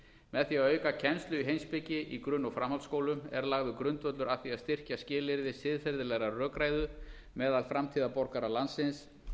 með því að auka kennslu í heimspeki í grunn og framhaldsskólum er lagður grundvöllur að því að styrkja skilyrði siðferðilegrar rökræðu meðal framtíðarborgara landsins